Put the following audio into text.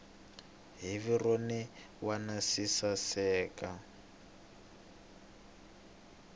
hi vurhon wana swi saseka